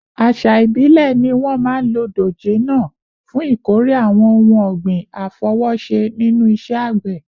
Àṣà ìbílẹ̀ ni wọ́n máa ń lo dòjé náà fún ìkórè àwọn ohun ọ̀gbìn àfọwọ́ṣe nínú iṣẹ́ àgbẹ̀